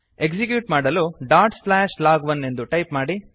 execute ಮಾಡಲು dot slash log one ಎಂದು type ಮಾಡಿ